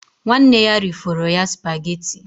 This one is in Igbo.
Nwanne ya rifọrọ ya spageti